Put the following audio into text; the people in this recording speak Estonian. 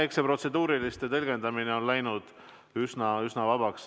Eks see protseduuriliste küsimuste tõlgendamine on läinud üsna vabaks.